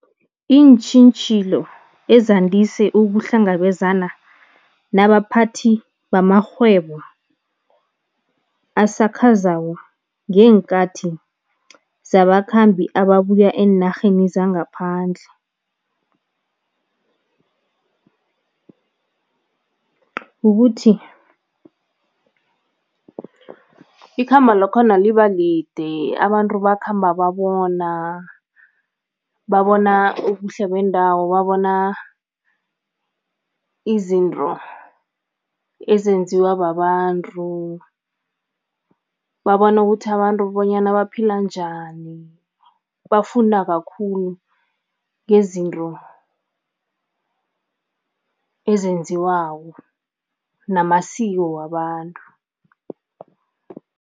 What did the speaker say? Iintjhijilo ezandise ukuhlangabezana nabaphathi bamarhwebo asakhasako ngeenkathi zabakhambi ababuya eenarheni zangaphandle, ukuthi ikhambo lakhona liba lide, abantu bakhamba babona babona ubuhle bendawo, babona izinto ezenziwa babantu, babona ukuthi abantu bonyana baphila njani, bafunda kakhulu ngezinto ezenziwako namasiko wabantu.